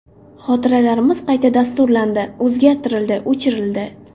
Xotiralarimiz qayta dasturlandi, o‘zgartirildi, o‘chirildi.